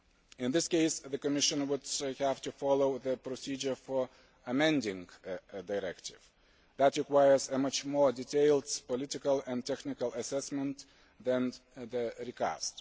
In this case, the Commission would have to follow the procedure for amending a directive. That requires a much more detailed political and technical assessment than the recast.